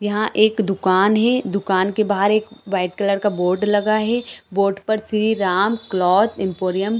यहाँ एक दुकान है दुकान के बाहर एक वाइट कलर का बोर्ड लगा है बोर्ड पर श्री राम क्लॉथ इम्पोरियम--